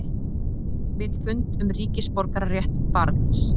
Vill fund um ríkisborgararétt barns